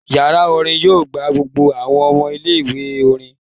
Yara orin yoo gba gbogbo awọn ọmọ ile-iwe orin